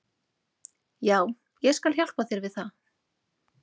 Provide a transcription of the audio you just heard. Já, ég skal hjálpa þér við það.